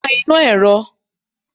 pa iná erò!